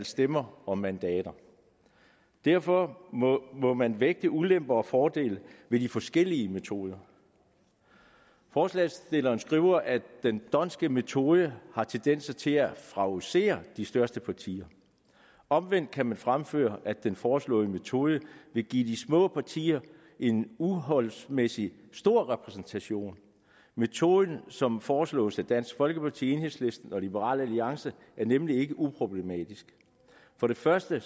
stemmer og mandater derfor må må man vægte ulemper og fordele ved de forskellige metoder forslagsstillerne skriver at den d’hondtske metode har tendens til at favorisere de største partier omvendt kan man fremføre at den foreslåede metode vil give de små partier en uforholdsmæssig stor repræsentation metoden som foreslås af dansk folkeparti enhedslisten og liberal alliance er nemlig ikke uproblematisk for det første